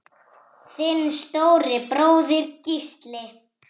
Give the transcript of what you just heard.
Þinn stóri bróðir, Gísli.